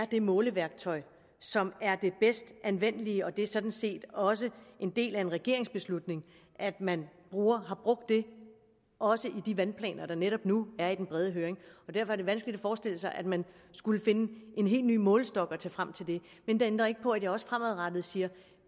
det måleværktøj som er det bedst anvendelige det er sådan set også en del af en regeringsbeslutning at man har brugt det også i de vandplaner der netop nu er ude i den brede høring derfor er det vanskeligt at forestille sig at man skulle finde en helt ny målestok at tage frem men det ændrer ikke på at jeg også fremadrettet siger